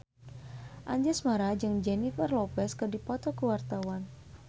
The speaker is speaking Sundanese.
Anjasmara jeung Jennifer Lopez keur dipoto ku wartawan